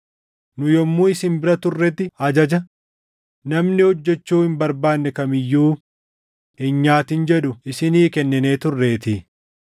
Nu yommuu isin bira turretti ajaja, “Namni hojjechuu hin barbaanne kam iyyuu hin nyaatin” jedhu isinii kenninee turreetii.